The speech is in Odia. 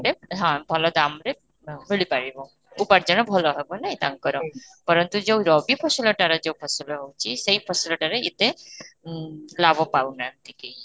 ରେ ହଁ ଭଲ ଦାମରେ ଆଁ ମିଳି ପାରିବ, ଉପାର୍ଜନ ଭଲ ହେବ ନାଇଁ ତାଙ୍କର ପରନ୍ତୁ ଯାଉ ରବି ଫସଲ ଟାରେ ଯାଉ ଫସଲ ଟାରେ ଯାଉ ଫସଲ ହଉଛି ସେଇ ଫସଲ ଟାରେ ଏତେ ଓଁ ଲାଭ ପାଉ ନାହାନ୍ତି କେହି